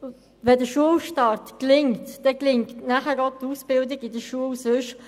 Gelingt der Schulstart, gelingt auch die Ausbildung in der Schule.